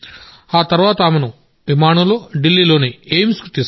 తర్వాత ఆమెను విమానంలో ఢిల్లీలోని ఎయిమ్స్కు తీసుకొచ్చాం